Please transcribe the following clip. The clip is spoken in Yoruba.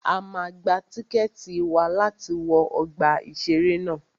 A máa gba tíkẹ̀tì wa láti wọ ọgbà ìṣẹ̀rẹ́ ná.